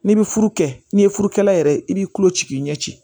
N'i bɛ furu kɛ n'i ye furu kɛlɛ yɛrɛ i b'i tulo ci k'i ɲɛ ci